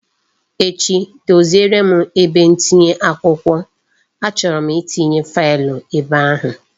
Echi doziere m ebe ntinye akwụkwọ, a chọrọ m itinye faịlụ ebe ahụ